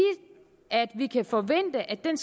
at vi kan forvente at den